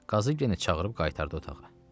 Qazı yenə çağırıb qaytardı otağa.